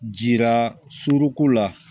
Jira suruku la